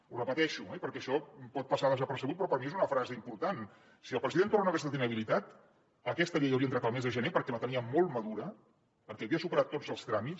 ho repeteixo eh perquè això pot passar desapercebut però per mi és una frase important si el president torra no hagués estat inhabilitat aquesta llei hauria entrat el mes de gener perquè la teníem molt madura perquè havia superat tots els tràmits